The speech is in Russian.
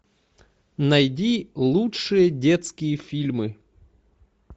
найди лучшие детские фильмы